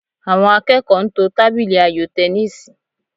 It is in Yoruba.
Àwọn akẹ́kọ̀ọ́ ń to tábìlì ayò tẹníìsì